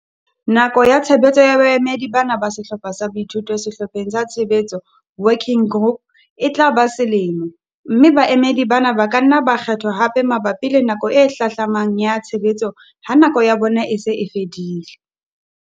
Nako ya tshebetso ya baemedi bana ba Sehlopha sa Boithuto Sehlopheng sa Tshebetso, Working Group, e tla ba selemo, mme baemedi bana ba ka nna ba kgethwa hape mabapi le nako e hlahlamang ya tshebetso ha nako ya bona e se e fedile.